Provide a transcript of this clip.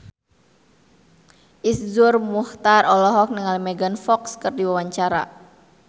Iszur Muchtar olohok ningali Megan Fox keur diwawancara